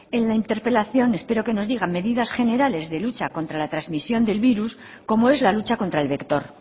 en la interpelación espero que nos digan medidas generales de lucha contra la trasmisión del virus como es la lucha contra el vector